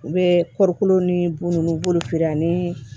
U bɛ kɔɔrikolo ni bun nunnu b'olu feere ani